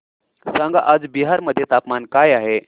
सांगा आज बिहार मध्ये तापमान काय आहे